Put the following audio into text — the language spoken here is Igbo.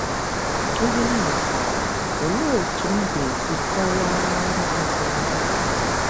IHE M GHỌTARA: Olee otú m ga - esi kọwaara onye ọzọ ihe a?